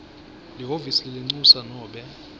lihhovisi lelincusa nobe